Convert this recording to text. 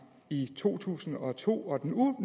i to tusind og to og den